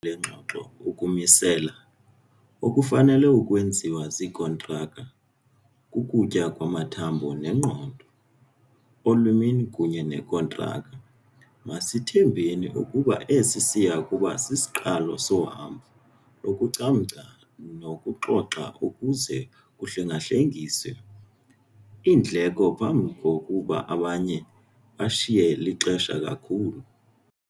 le ngxoxo "ukumisela" okufanele ukwenziwa ziikhontraktha - "kukutya kwamathambo engqondo" - omlimi kunye nekhontraktha. Masithembe ukuba esi siya kuba sisiqalo sohambo, lokucamngca nokuxoxa ukuze "kuhlenga-hlengiswe" iindleko phambi kokuba abanye bashiye lixesha kakhulu.